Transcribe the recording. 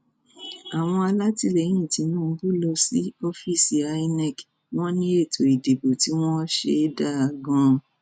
àwọn alátìlẹyìn tinubu lọ sí ọfíìsì imac wọn ní ètò ìdìbò tí wọn ṣe dáa gan